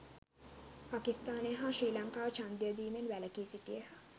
පකිස්ථානය හා ශ්‍රී ලංකාව ඡන්දය දීමෙන් වැලකී සිටියහ